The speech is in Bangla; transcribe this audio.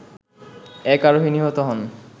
এক আরোহী নিহত হন